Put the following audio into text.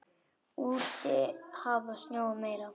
Úti hafði snjóað meira.